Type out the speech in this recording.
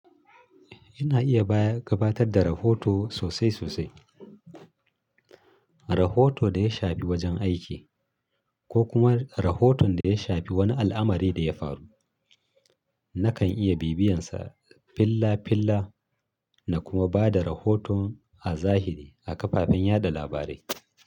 Ina iya bayar/gabatar da rahoto sosai sosai. Rahoto da ya shafi wajen aiki ko kuma rahoton da ya shafi wani al'amari da ya faru. Nakan iya bibiyansa fillafilla na kuma ba da rahoton a zahiri a kafafen yaɗa labarai.